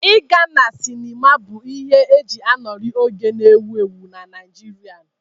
Ịga na sịnịma bụ ihe e ji anọrị oge na-ewu ewu na Naịjirịa.